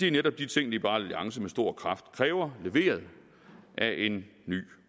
er netop de ting liberal alliance med stor kraft kræver leveret af en ny